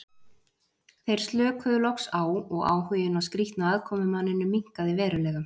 Þeir slökuðu loks á og áhuginn á skrýtna aðkomumanninum minnkaði verulega.